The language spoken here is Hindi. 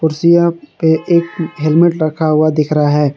कुर्सियां पे एक हेलमेट रखा हुआ दिख रहा है।